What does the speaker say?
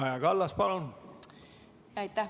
Kaja Kallas, palun!